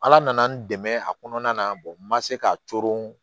Ala nana n dɛmɛ a kɔnɔna na n ma se k'a toron